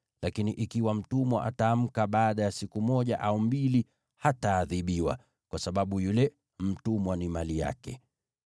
lakini ikiwa mtumwa ataamka baada ya siku moja au mbili, hataadhibiwa, kwa sababu yule mtumwa ni mali yake.